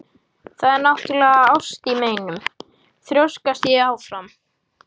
Það er náttúrlega ást í meinum, þrjóskast ég áfram.